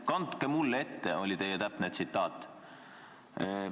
"Kandke mulle ette," on teie täpne tsitaat.